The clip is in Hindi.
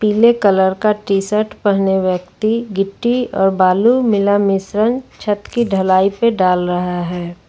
पीले कलर का टी शर्ट पहने व्यक्ति गिट्टी और बालू मिला मिश्रण छत की ढलाई पे डाल रहा है।